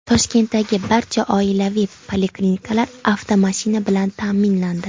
Toshkentdagi barcha oilaviy poliklinikalar avtomashina bilan ta’minlandi.